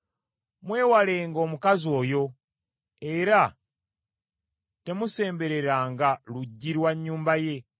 Mwewalenga omukazi oyo era temusembereranga luggi lwa nnyumba ye;